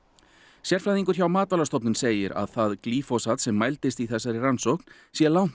sérfræðingur hjá Matvælastofnun segir að það glýfosat sem mældist í þessari rannsókn sé langt